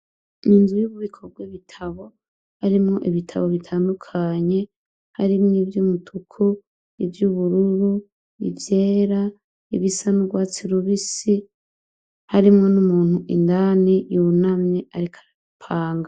Inzu y'ububiko bw'ibitabo harimwo ibitabo bitandukanye, harimwo ivy'umutuku, ivy'ubururu, ivyera, ibisa n'urwatsi rubisi, harimwo n'umuntu indani yunamye, ariko arabipanga.